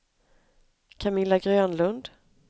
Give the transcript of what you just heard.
Camilla Grönlund